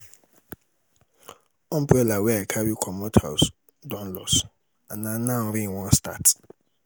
umbrella wey i carry comot house don loss and na now rain wan start.